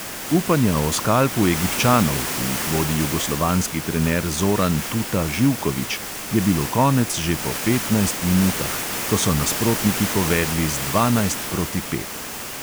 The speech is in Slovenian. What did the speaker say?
Upanja o skalpu egipčanov, ki jih vodi jugoslovanski trener zoran tuta živković, je bilo konec že po petnajst minutah, ko so nasprotniki povedli z dvanajst proti pet.